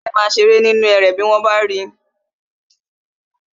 Ẹléde ma ṣeré nínú erè tí wọ́n bá ri